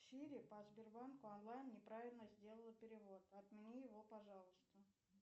сири по сбербанку онлайн не правильно сделала перевод отмени его пожалуйста